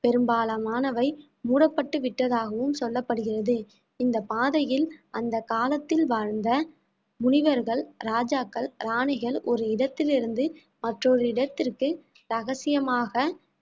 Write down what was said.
பெரும்பாலானவை மூடப்பட்டு விட்டதாகவும் சொல்லப்படுகிறது இந்த பாதையில் அந்த காலத்தில் வாழ்ந்த முனிவர்கள் ராஜாக்கள் ராணிகள் ஒரு இடத்திலிருந்து மற்றொரு இடத்திற்கு ரகசியமாக